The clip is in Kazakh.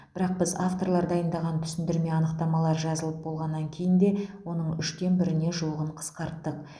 бірақ біз авторлар дайындаған түсіндірме анықтамалар жазылып болғаннан кейін де оның үштен біріне жуығын қысқарттық